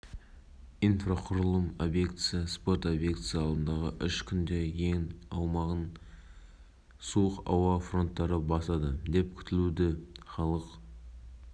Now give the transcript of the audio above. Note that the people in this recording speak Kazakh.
өсімдіктер және жануарлар дүниесі мәселелері бойынша өзгерістер мен толықтырулар енгізу туралы заң жобасын таныстыра отырып